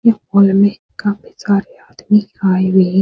ये हॉल में काफी सारे आदमी आए हुए हैं।